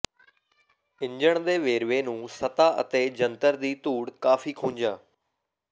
engine ਦੇ ਵੇਰਵੇ ਨੂੰ ਸਤਹ ਅਤੇ ਜੰਤਰ ਦੀ ਧੂੜ ਕਾਫੀ ਖੁੰਝਾ